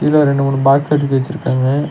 இதுல ரெண்டு மூணு பாக்ஸ் எடுத்து வெச்சிருக்காங்க.